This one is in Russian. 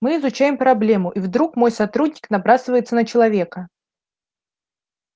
мы изучаем проблему и вдруг мой сотрудник набрасывается на человека